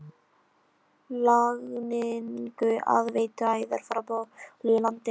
Lagningu aðveituæðar frá borholu í landi